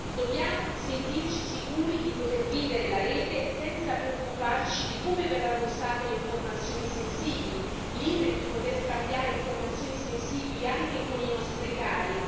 Dobbiamo sentirci sicuri di poter vivere la rete senza preoccuparci di come verranno usate le informazioni sensibili, liberi di poter scambiare informazioni sensibili anche con i nostri cari.